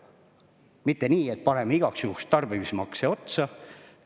Mitte nii, et paneme igaks juhuks tarbimismakse otsa.